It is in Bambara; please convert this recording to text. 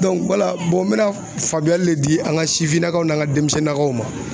wala n mɛna faamuyali le di an ka sifinnakaw n'an ka denmisɛnninnakaw ma